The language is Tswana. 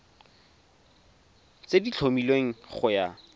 tse di tlhomilweng go ya